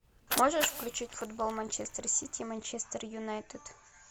можешь включить футбол манчестер сити манчестер юнайтед